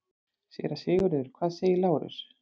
SÉRA SIGURÐUR: Hvað segir Lárus?